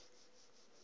a si koe u i